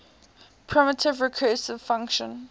primitive recursive function